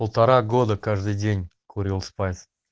полтора года каждый день курил спайс